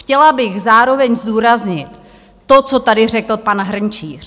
Chtěla bych zároveň zdůraznit to, co tady řekl pan Hrnčíř.